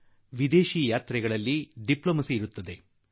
ಇನ್ನು ವಿದೇಶ ಪ್ರವಾಸ ಬಂದ ಮೇಲೆ ರಾಜ ತಾಂತ್ರಿಕತೆ ಇರುತ್ತದೆ